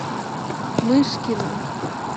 мышкина